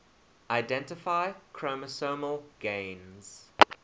identify chromosomal gains